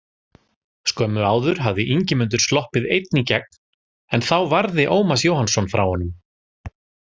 Skömmu áður hafði Ingimundur sloppið einn í gegn en þá varði Ómar Jóhannsson frá honum.